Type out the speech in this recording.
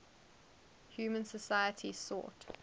human societies sought